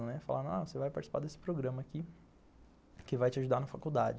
Falaram, ah, você vai participar desse programa aqui, que vai te ajudar na faculdade.